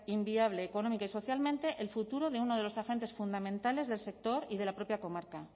inviable económica y socialmente el futuro de uno de los agentes fundamentales del sector y de la propia comarca